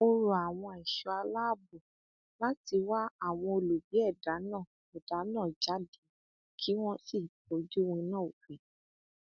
ó rọ àwọn ẹṣọ aláàbọ láti wá àwọn olubi ẹdá náà ẹdá náà jáde kí wọn sì fojú winá òfin